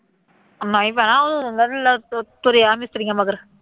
ਮੈਂ ਹੀ ਪੈਣਾ, ਤੁਰਿਆ ਮਿਸਤਰੀਆਂ ਮਗਰ